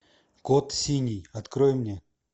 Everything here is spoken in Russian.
код синий открой мне